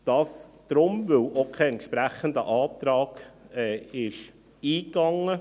Dies deshalb, weil auch kein entsprechender Antrag einging.